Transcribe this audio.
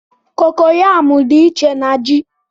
kokoyamú dị iche na ji